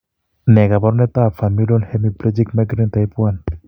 Ne kaabarunetap Familial hemiplegic migraine type 1?